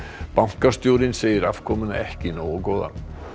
bankastjórinn segir afkomuna ekki nógu góða